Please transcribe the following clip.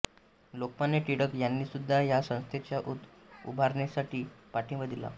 लोकमान्य टिळक यांनीसुद्धा या संस्थेच्या उभारणीसाठी पाठिंबा दिला